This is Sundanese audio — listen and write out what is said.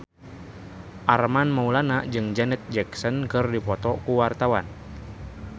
Armand Maulana jeung Janet Jackson keur dipoto ku wartawan